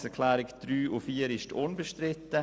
Die Planungserklärungen 3 und 4 sind unbestritten.